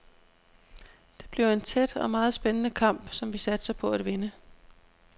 Det bliver en tæt og meget spændende kamp, som vi satser på at vinde.